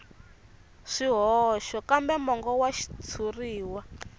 swihoxo kambe mongo wa xitshuriwa